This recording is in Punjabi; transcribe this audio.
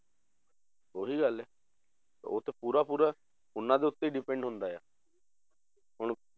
ਉਹੀ ਗੱਲ ਹੈ ਉਹ ਤੇ ਪੂਰਾ ਪੂਰਾ ਉਹਨਾਂ ਦੇ ਉੱਤੇ ਹੀ depend ਹੁੰਦਾ ਆ ਹੁਣ,